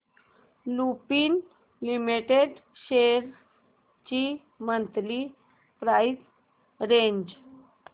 Lupin limited shares ची monthly price range